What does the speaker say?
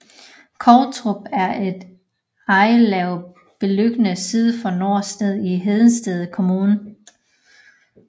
Kovtrup er et ejerlav beliggende syd for Nørre Snede i Hedensted Kommune